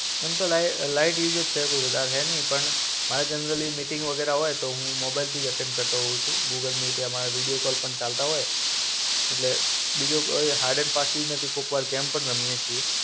એમ તો લાઇ light usage છે, કઈ વધારે હૈ નઈ. પણ, મારે તો યુઝઅલી મિટિંગ વગેરા હોય તો હું મોબાઈલથી જ અટેન્ડ કરતો હોવ છુ. ગૂગલ મીટ એમાં વિડિઓ કોલ પણ ચાલતા હોય. એટલે બીજો કોઈ હાર્ડ એન્ડ ફાસ્ટ યુઝ નથી કોઈક વાર ગેમ પણ રમીયે છે